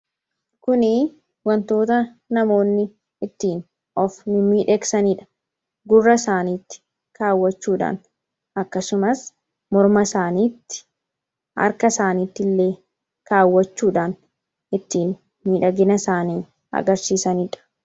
Kuni wantoota namoonni ittiin of miidheeksaniidha. Gurra isaaniitti kaawwachuudhaan akkasumas morma isaaniitti harka isaaniitti illee kaawwachuudhaan ittiin midhagina isaanii agarsiisaniidha.